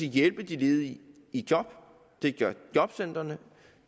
hjælpe de ledige i job og det gør jobcentrene